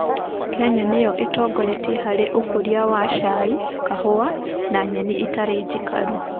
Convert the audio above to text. Kenya niyo ĩtongoretie harĩ ũkũria wa cai, kahũa na nyeni itarĩ njikaru